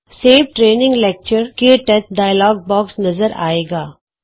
save training lecture ਕੇ touch save training lecture - ਕਟਚ dialog box ਨਜ਼ਰ ਆਏਗਾ